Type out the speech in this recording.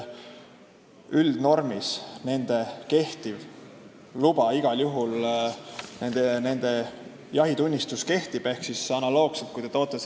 Üldnormis nende luba, nende jahitunnistus igal juhul kehtib.